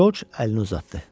Corc əlini uzatdı.